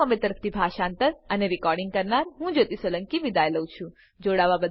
IIT Bombay તરફથી હું જ્યોતી સોલંકી વિદાય લઉં છું